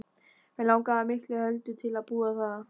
Mig langaði miklu heldur til að búa þar.